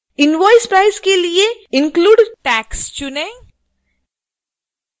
invoice prices के लिए include tax चुनें